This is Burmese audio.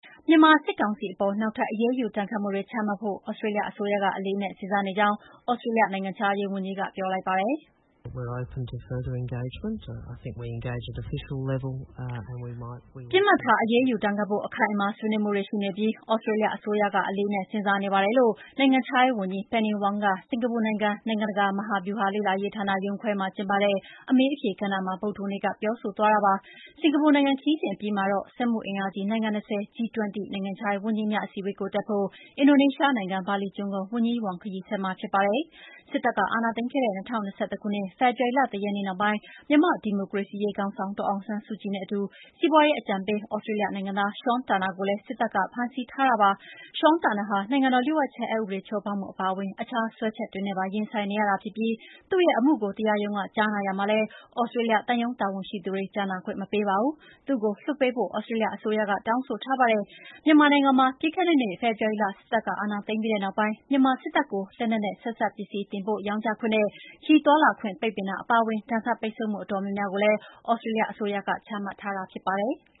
မြန်မာစစ်ကောင်စီအပေါ် နောက်ထပ် အရေးယူဒဏ်ခတ်မှုတွေ ချမှတ်ဖို့ သြစတြေးလျအစိုးရက အလေးအနက် စဉ်းစားနေကြောင်း သြစတေးလျနိုင်ငံခြားရေးဝန်ကြီးက ပြောလိုက်ပါတယ်။ “ပစ်မှတ်ထား အရေးယူဒဏ်ခတ်ဖို့ အခိုင်အမာ ဆွေးနွေးမှုတွေ ရှိနေပြီး၊ သြစတေးလျအစိုးရက အလေးအနက် စဉ်းစားနေပါတယ်” လို့ နိုင်ငံခြားရေးဝန်ကြီး Penny Wong က စင်္ကာပူနိုင်ငံ နိုင်ငံတကာ မဟာဗျူဟာလေ့လာရေးဌာန IISS ရုံးခွဲမှာကျင်းပတဲ့ အမေးအဖြေ ကဏ္ဍမှာ ဗုဒ္ဓဟူးနေ့က ပြောဆိုသွားတာပါ။ စင်္ကာပူနိုင်ငံခရီးစဉ်အပြီးမှာတော့ စက်မှုအင်အားကြီးနိုင်ငံ ၂၀ G20 နိုင်ငံခြားရေးဝန်ကြီးများ အစည်းအဝေးကိုတက်ဖို့ အင်ဒိုနီးရှားနိုင်ငံ၊ ဘာလီကျွန်းကို ဝန်ကြီး Wong ခရီးဆက်မှာဖြစ်ပါတယ်။ စစ်တပ်က အာဏာသိမ်းခဲ့တဲ့ ၂၀၂၁ ဖေဖော်ဝါရီလ ၁ ရက်နေ့နောက်ပိုင်း မြန်မာ့ ဒီမိုကရေစီရေး ခေါင်းဆောင် ဒေါ်အောင်ဆန်းစုကြည်နဲ့အတူ စီးပွါးရေးအကြံပေးသြစတေးလျနိုင်ငံသား Sean Turnell ကိုလည်း စစ်တပ်က ဖမ်းဆီးထားပါတယ်။ Sean Trunell ဟာ နိုင်ငံတော်လ ျှို့ဝှက်ချက်အက်ဥပဒေချိုးဖောက်မှုအပါအဝင်အခြားစွဲချက်တွေနဲ့ပါ ရင်ဆိုင်နေရတာဖြစ်ပြီး သူ့ရဲ့အမှုကို တရားရုံးက ကြားနာရာမှာလည်း Australia သံရုံးတာဝန်ရှိသူတွေကို ကြားနာခွင့် မပေးပါဘူး။ သူ့ကို လွှတ်ပေးဖို့ Australia အစိုးရက တောင်းဆိုထားပါတယ်။ မြန်မာနိုင်ငံမှာ ပြီးခဲ့တဲ့နှစ် ဖေဖော်ဝါရီလက စစ်အာဏာသိမ်းပြီးနောက်ပိုင်း မြန်မာစစ်တပ်ကို လက်နက်နဲ့ ဆက်စပ်ပစ္စည်း တင်ပို့ရောင်းချခွင့်နဲ့ ခရီးသွားလာခွင့်ပိတ်ပင်တာအပါအဝင်ဒဏ်ခတ်ပိတ်ဆို့မှုအတော်များများကို သြစတးလျအစိုးရက ချမှတ်ထားတာဖြစ်ပါတယ်။